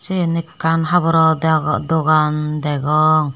seane ekan haborow dogan dagong.